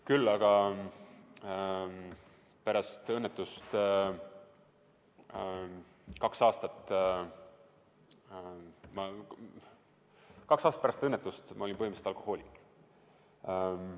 Küll aga olin ma pärast õnnetust kaks aastat põhimõtteliselt alkohoolik.